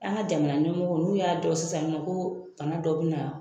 An ka jamana ɲɛmɔgɔ ,n'u y'a dɔn sisan nɔ ko fanga dɔ be na